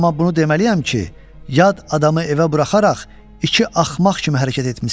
Amma bunu deməliyəm ki, yad adamı evə buraxaraq iki axmaq kimi hərəkət etmisiz.